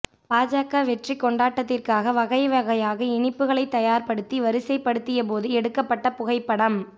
பாஜக வெற்றி கொண்டாட்டத்திற்காக வகை வகையாக இனிப்புகளை தயார்படுத்தி வரிசைப் படுத்திய போது எடுக்கப்பட்ட புகைப்படம்